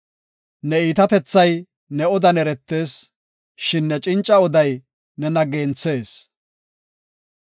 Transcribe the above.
Ne iitatethay ne odan eretees; shin ne cinca oday nena genthees.